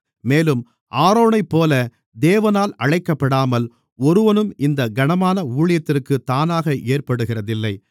மேலும் ஆரோனைப்போல தேவனால் அழைக்கப்படாமல் ஒருவனும் இந்தக் கனமான ஊழியத்திற்குத் தானாக ஏற்படுகிறதில்லை